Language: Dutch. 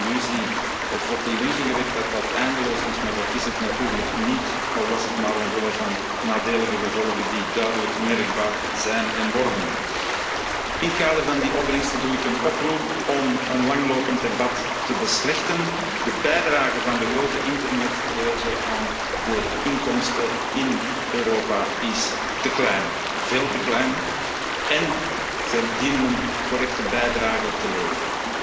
Bank. Soms hebben we de illusie of wordt de illusie gewekt dat dat eindeloos is, maar dat is het natuurlijk niet, al was het maar omwille van de nadelige gevolgen die duidelijk merkbaar zijn en worden. In het kader van die gevolgen doe ik een oproep om een langlopend debat te beslechten. De bijdrage van de grote internetreuzen aan de inkomsten in Europa is te klein, veel te klein, en zij dienen een correcte bijdrage te